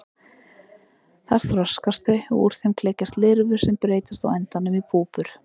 Þar þroskast þau og úr þeim klekjast lirfur sem breytast á endanum í púpur.